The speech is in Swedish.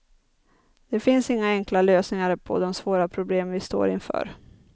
Det finns inga enkla lösningar på de svåra problem vi står inför.